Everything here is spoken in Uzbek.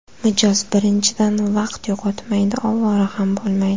Mijoz birinchidan vaqt yo‘qotmaydi, ovora ham bo‘lmaydi.